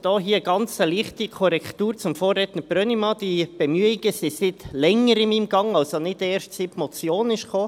Dazu eine ganz leichte Korrektur gegenüber dem Vorredner Brönnimann: Diese Bemühungen sind seit Längerem in Gang, also nicht erst, seit die Motion kam.